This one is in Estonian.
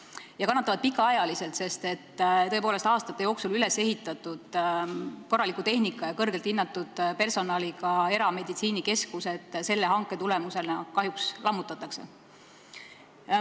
Nad kannatavad pikaajaliselt, sest aastate jooksul ülesehitatud korraliku tehnika ja kõrgelt hinnatud personaliga erameditsiinikeskused selle hanke tulemusena kahjuks lammutatakse.